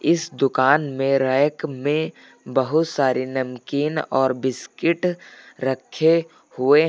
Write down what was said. इस दुकान में रैक में बहुत सारे नमकीन और बिस्किट रखे हुए हैं।